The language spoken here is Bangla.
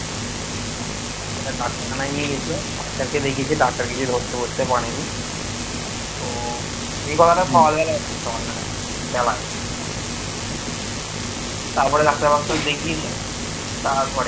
তারপরে দেখিয়েছে তারপরে